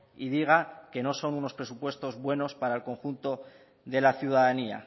y diga que no son unos presupuestos buenos para el conjunto de la ciudadanía